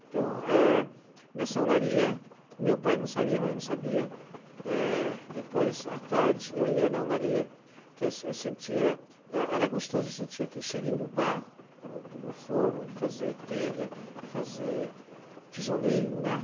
Então, é, nessa olaria, meu pai não sabia, minha mãe não sabia, é, depois, à tarde, eu ia na olaria, que eu eu sentia, é era gostoso, eu sentia aquele cheirinho do barro, do do forno, de fazer telha, fazer tijolinho, né?